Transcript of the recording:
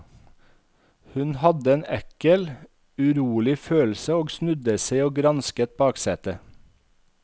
Hun hadde en ekkel, urolig følelse og snudde seg og gransket baksetet.